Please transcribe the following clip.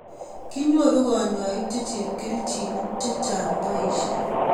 kinyoru kanyoik che chepkerichonik che chang' boisie